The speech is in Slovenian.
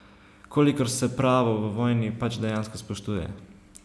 Kolikor se pravo v vojni pač dejansko spoštuje.